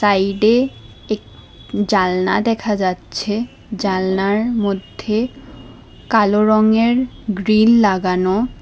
সাইডে এক জালনা দেখা যাচ্ছে জালনার মধ্যে কালো রংয়ের গ্রিল লাগানো।